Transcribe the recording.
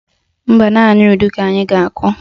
Mba, naanị udu ka ị ga-akụ